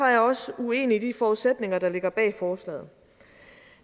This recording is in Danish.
jeg også uenig i de forudsætninger der ligger bag forslaget